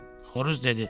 Xoruz dedi.